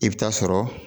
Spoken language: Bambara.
I bɛ taa sɔrɔ